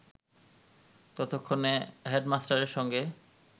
ততক্ষণে হেডমাস্টারের সঙ্গে